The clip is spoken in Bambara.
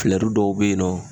filɛru dɔw be yen nɔ